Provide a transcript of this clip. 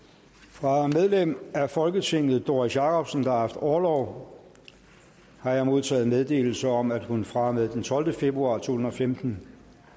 fra medlem af folketinget doris jakobsen der har haft orlov har jeg modtaget meddelelse om at hun fra og med den tolvte februar to tusind og femten